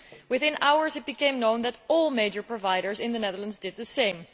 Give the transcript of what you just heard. Within hours it became known that all major providers in the Netherlands did the same.